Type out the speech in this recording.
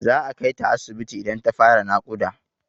Za a kai ta asibiti idan ta fara naƙuda.